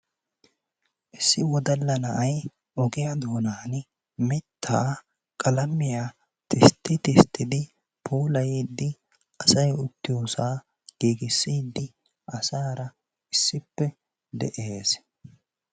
Issi woddalla na'ay ogiya doonaani mitaa qalammiya tistti tisttidi puulayiidi asay uttiyosa giggissidi asaara issippe de'ees.